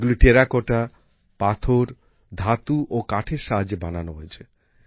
এগুলি টেরাকোটা পাথর ধাতু ও কাঠের সাহায্যে বানানো হয়েছে